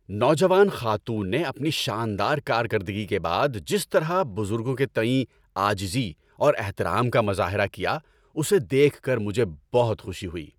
نوجوان خاتون نے اپنی شاندار کارکردگی کے بعد جس طرح بزرگوں کے تئیں عاجزی اور احترام کا مظاہرہ کیا، اسے دیکھ کر مجھے بہت خوشی ہوئی۔